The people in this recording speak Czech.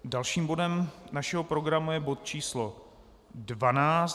Dalším bodem našeho programu je bod číslo